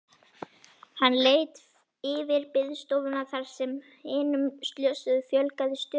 Hann leit yfir biðstofuna þar sem hinum slösuðu fjölgaði stöðugt.